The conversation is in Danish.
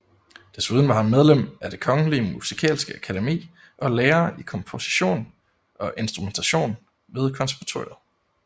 Desuden var han medlem af det kongelige musikalske akademi og lærer i komposition og instrumentation ved konservatoriet